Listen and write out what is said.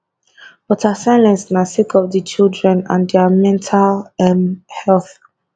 but her silence na sake of di children and dia mental um health